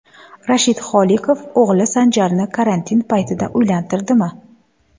Rashid Holiqov o‘g‘li Sanjarni karantin paytida uylantirdimi?.